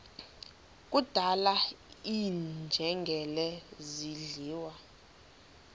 kudlala iinjengele zidliwa